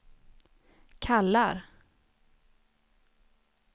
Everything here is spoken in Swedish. kallar